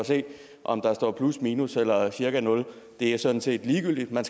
og se om der står plus minus eller cirka nul det er sådan set ligegyldigt men